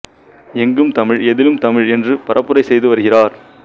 எங்கும் தமிழ் எதிலும் தமிழ் என்று பரப்புரை செய்து வருகிறார்